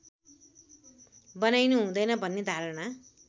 बनाइनु हुँदैन भन्ने धारणा